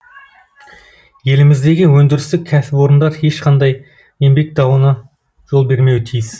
еліміздегі өндірістік кәсіпорындар ешқандай еңбек дауына жол бермеуі тиіс